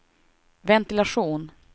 ventilation